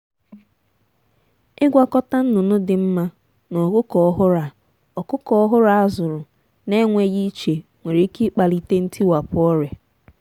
ịgwakọta nnụnụ dị mma na ọkụkọ ọhụrụ a ọkụkọ ọhụrụ a zụrụ na-enweghị iche nwere ike ịkpalite ntiwapụ ọrịa.